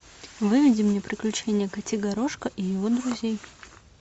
выведи мне приключения котигорошка и его друзей